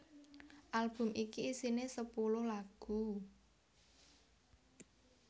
Album iki isiné sepuluh lagu